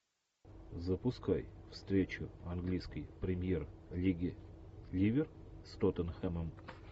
запускай встречу английской премьер лиги ливер с тоттенхэмом